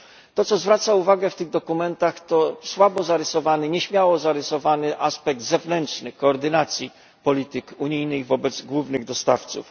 To, co zwraca uwagę w tych dokumentach, to słabo zarysowany, nieśmiało zarysowany aspekt zewnętrzny koordynacji polityk unijnych wobec głównych dostawców.